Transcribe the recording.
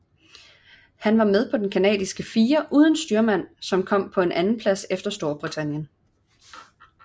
Han var med på den canadiske fire uden styrmand som kom på en andenplads efter Storbritannien